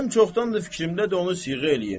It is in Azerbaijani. Mənim çoxdandır fikrimdədir onu siyğə eləyim.